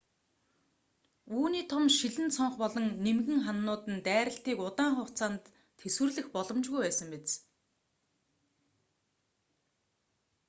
үүний том шилэн цонх болон нимгэн хананууд нь дайралтыг удаан хугацаанд тэсвэрлэх боломжгүй байсан биз